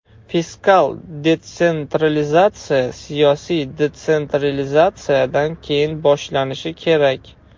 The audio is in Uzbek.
Fiskal detsentralizatsiya siyosiy detsentralizatsiyadan keyin boshlanishi kerak.